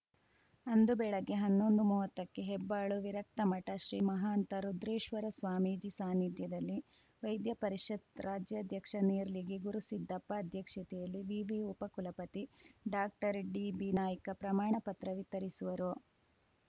ಅಂದು ಬೆಳಗ್ಗೆ ಹನ್ನೊಂದು ಮೂವತ್ತಕ್ಕೆ ಹೆಬ್ಬಾಳು ವಿರಕ್ತಮಠ ಶ್ರೀ ಮಹಾಂತ ರುದ್ರೇಶ್ವರ ಸ್ವಾಮೀಜಿ ಸಾನಿಧ್ಯದಲ್ಲಿ ವೈದ್ಯ ಪರಿಷತ್‌ ರಾಜ್ಯಾಧ್ಯಕ್ಷ ನೇರ್ಲಿಗಿ ಗುರುಸಿದ್ದಪ್ಪ ಅಧ್ಯಕ್ಷತೆಯಲ್ಲಿ ವಿವಿ ಉಪ ಕುಲಪತಿ ಡಾಕ್ಟರ್ಡಿಬಿನಾಯ್ಕ ಪ್ರಮಾಣ ಪತ್ರ ವಿತರಿಸುವರು